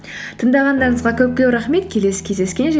тыңдағандарыңызға көп көп рахмет келесі кездескенше